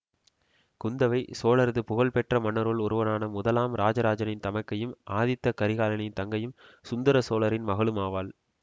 குந்தவை சோழரது புகழ் பெற்ற மன்னருள் ஒருவனான முதலாம் இராஜராஜனின் தமைக்கையும் ஆதித்த கரிகாலனின் தங்கையும் சுந்தர சோழரின் மகளுமாவாள்